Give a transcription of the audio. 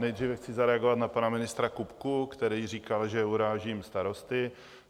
Nejdříve chci zareagovat na pana ministra Kupku, který říkal, že urážím starosty.